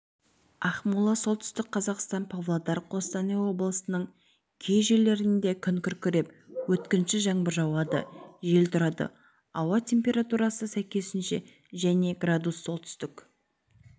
ақмола солтүстік қазақстан павлодар қостанай облысының кей жерлерінде күн күркіреп өткінші жаңбыр жауады жел тұрады ауа температурасы сәйкесінше және градус солтүстік